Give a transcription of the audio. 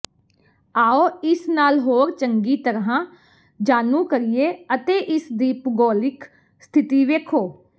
ਆਉ ਇਸ ਨਾਲ ਹੋਰ ਚੰਗੀ ਤਰ੍ਹਾਂ ਜਾਣੂ ਕਰੀਏ ਅਤੇ ਇਸਦੀ ਭੂਗੋਲਿਕ ਸਥਿਤੀ ਵੇਖੋ